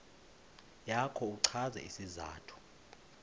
yakho uchaze isizathu